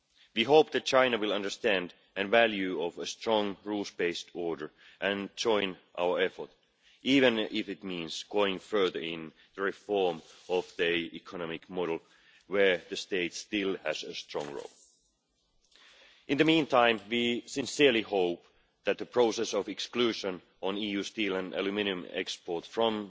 We hope that China will understand the value of a strong rules based order and join our effort, even if it means going further in the reform of their economic model, where the state still has a strong role. In the meantime, we sincerely hope that the process of exclusion of EU steel and aluminium exports from